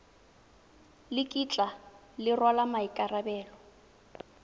le kitla le rwala maikarabelo